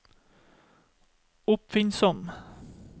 oppfinnsomme